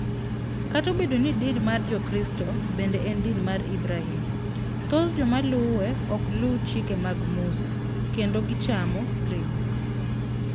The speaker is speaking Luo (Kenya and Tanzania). Kata obedo ni din mar Jokristo bende en din mar Ibrahim, thoth joma luwe ok luw chike mag Musa, kendo gichamo ring'o.